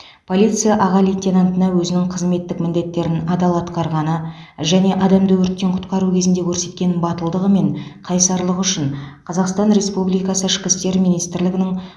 полиция аға лейтенантына өзінің қызметтік міндеттерін адал атқарғаны және адамды өрттен құтқару кезінде көрсеткен батылдығы мен қайсарлығы үшін қазақстан республикасы ішкі істер министрлігінің